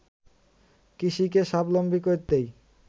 কৃষিকে স্বাবলম্বী করতেই